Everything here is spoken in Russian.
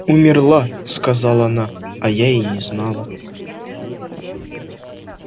умерла сказала она а я и не знала